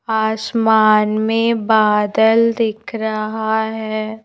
आसमान में बादल दिख रहा है।